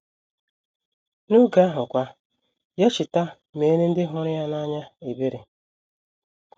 N’oge ahụ kwa, ya cheta meere ndị hụrụ ya n’anya ebere!